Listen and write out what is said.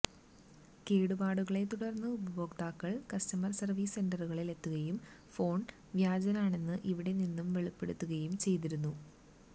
കേടുപാടുകളെത്തുടർന്ന് ഉപയോക്താക്കൾ customer service സെന്ററുകളിൽ എത്തുകയും ഫോൺ വ്യാജനാണെന്ന് ഇവിടെ നിന്നും വെളിപ്പെടുത്തുകയും ചെയ്തിരുന്നു